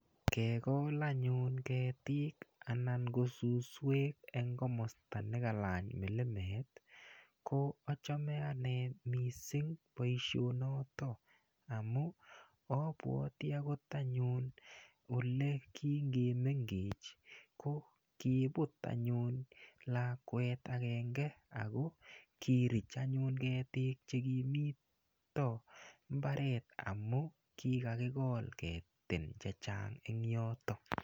Kegol anyun ketiik anan ngo suswek eng komosta ne kalany milimet ko achame anne mising boisiono amu abwate agot anyun ole kingimengech ko kiiput anyun lakwet agenge ago kirich anyun ketiik che kimito imbaret amu kigakigol ketin che chang en yotok.